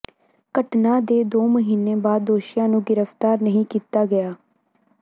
ਘਟਨਾ ਦੇ ਦੋ ਮਹੀਨੇ ਬਾਅਦ ਦੋਸ਼ੀਆਂ ਨੂੰ ਗ੍ਰਿਫਤਾਰ ਨਹੀਂ ਕੀਤਾ ਗਿਆ